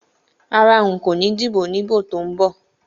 Rárá, nko ni díbò ní ìbò tó ń bọ̀.